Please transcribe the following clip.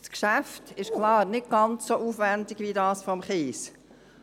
Das Geschäft ist klar nicht ganz so aufwendig wie das Kies-Geschäft,